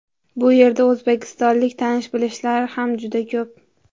Bu yerda o‘zbekistonlik tanish-bilishlar ham juda ko‘p.